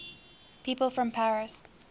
people from paris